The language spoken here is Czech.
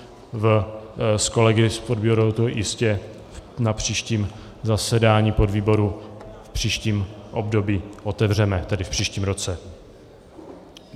S kolegy v podvýboru to jistě na příštím zasedání podvýboru v příštím období otevřeme, tedy v příštím roce.